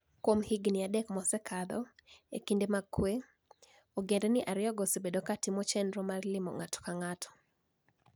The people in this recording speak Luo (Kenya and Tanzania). Kuom higinii adek mosekalo, e kinide mag kuwe, ogenidinii ariyogo osebedo ka timo cheniro mar limo nig'ato ka nig'ato.